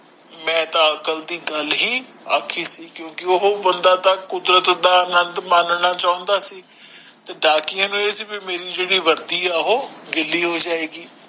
ਮੈਂ ਤਾ ਅਕਲ ਦੀ ਗੱਲ ਹੀ ਆਖਿ ਸੀ ਕਿਓਂਕਿ ਉਹ ਬੰਦਾ ਤਾਂ ਕੁਦਰਤ ਦਾ ਆਨੰਦ ਮੰਨਣਾ ਚਾਉਂਦਾ ਸੀ ਤੇ ਡਾਕੀਏ ਮਿਲੀ ਜੇੜੀ ਵਰਦੀ ਹੈ ਓਹੋ ਗੀਲੀ ਹੋ ਜਾਏਗੀ